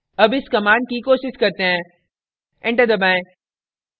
अब इस command की कोशिश करते हैं enter दबाएं